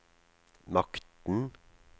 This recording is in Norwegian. makten